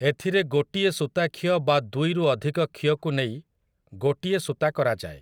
ଏଥିରେ ଗୋଟିଏ ସୂତା ଖିଅ ବା ଦୁଇରୁ ଅଧିକ ଖିଅକୁ ନେଇ ଗୋଟିଏ ସୂତା କରାଯାଏ ।